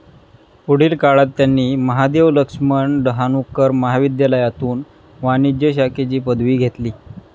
पुढील काळात त्यांनी महादेव लक्ष्मन डहाणूकर महाविध्यालायातून वाणिज्य शाखेची पदवी घेतली.